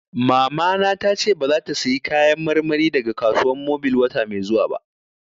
Mamana ta ce ba za ta saya Kayan marmari daga Kasuwan Mobil wata mai zuwa ba